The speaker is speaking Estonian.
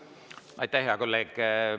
Aitäh, hea kolleeg!